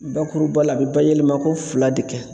Bakuruba la a bɛ bayɛlɛmako fila de kɛ.